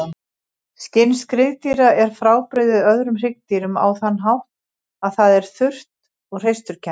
Skinn skriðdýra er frábrugðið öðrum hryggdýrum á þann hátt að það er þurrt og hreisturkennt.